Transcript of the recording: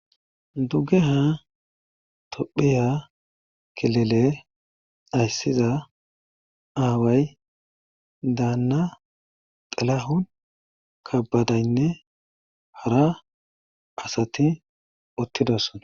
dugge ha tophiya kilele ayssiza aaway daanna xelahun kabadaynne hara asati uttidoson